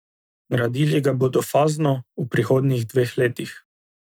Gradili ga bodo fazno, v prihodnjih dveh letih.